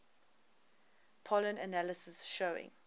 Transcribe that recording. pollen analysis showing